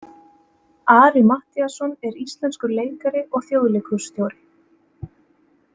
Ari Matthíasson er íslenskur leikari og Þjóðleikhússtjóri.